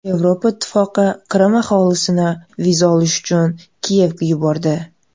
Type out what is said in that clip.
Yevropa Ittifoqi Qrim aholisini viza olish uchun Kiyevga yubordi.